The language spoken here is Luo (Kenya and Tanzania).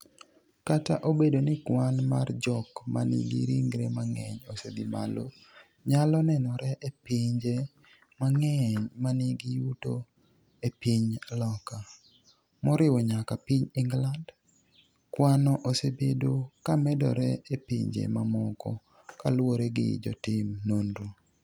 Kata obedo ni kwan mar jok manigi ringre mang’eny osedhi malo nyalo nenore e pinje mang’eny ma nigi yuto e piny loka, moriwo nyaka piny England, kwanno osebedo kamedore e pinje mamoko, kaluwore gi jotim nonro